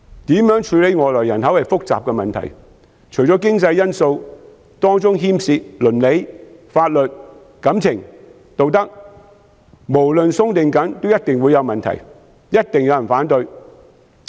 如何處理外來人口是複雜的問題，除經濟因素，當中牽涉到倫理、法律、感情和道德，無論寬鬆或嚴謹也一定會有問題，一定有人反對。